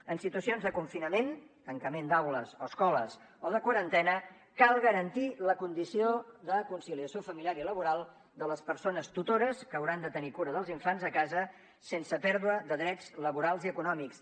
en situacions de confinament tancament d’aules o escoles o de quarantena cal garantir la condició de conciliació familiar i laboral de les persones tutores que hauran de tenir cura dels infants a casa sense pèrdua de drets laborals i econòmics